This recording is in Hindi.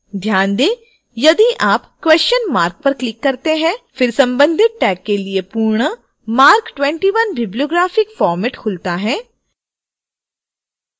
ध्यान दें यदि आप question mark पर click करते हैं फिर संबंधित tag के लिए पूर्ण marc 21 bibliographic format खुलता है